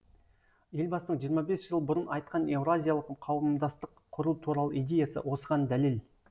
елбасының жиырма бес жыл бұрын айтқан еуразиялық қауымдастық құру туралы идеясы осыған дәлел